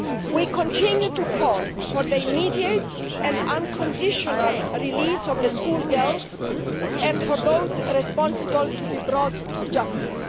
We continue to call for the immediate and unconditional release of the schoolgirls and for those responsible to be brought to justice.